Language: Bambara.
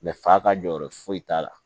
fa ka jɔyɔrɔ foyi t'a la